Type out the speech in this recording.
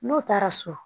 N'o taara so